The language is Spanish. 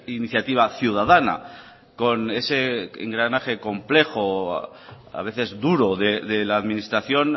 iniciativa ciudadana con ese engranaje complejo a veces duro de la administración